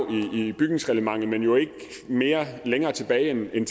i bygningsreglementet men jo ikke længere tilbage end i